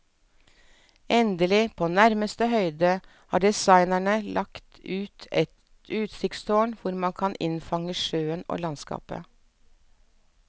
Endelig, på nærmeste høyde, har designerne lagt et utsiktstårn hvor man kan innfange sjøen og landskapet.